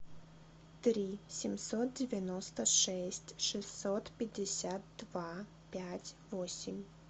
три семьсот девяносто шесть шестьсот пятьдесят два пять восемь